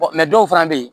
dɔw fana bɛ yen